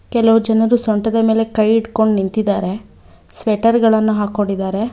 ಕೆಲವು ಜನರು ಸೊಂಟದ ಮೇಲೆ ಕೈ ಇಟ್ಟುಕೊಂಡ್ ನಿಂತಿದ್ದಾರೆ ಸ್ವೆಟರ್ ಗಳನ್ನ ಹಾಕೊಂಡಿದ್ದಾರೆ.